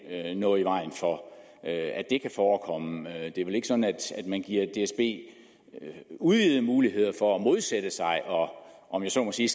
er noget i vejen for at det kan forekomme det er vel ikke sådan at man giver dsb udvidede muligheder for at modsætte sig om om jeg så må sige